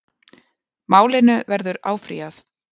Málinu verður áfrýjað